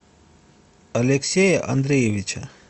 алексея андреевича